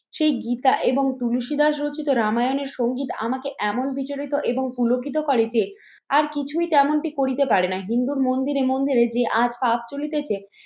সেই গীতা এবং তুলসীদাস রচিত রামায়নের সঙ্গীত আমাকে এমন বিচরিত এবং পুলকিত করে যে আর কিছুই তেমনটি করিতে পারে না। হিন্দুর মন্দিরে মন্দিরে যে আজ পাপ চলিতেছে